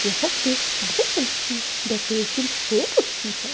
यहां पे बहुत अच्छी डेकोरेशन हो रखी है।